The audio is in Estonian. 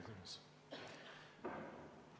Hea esimees!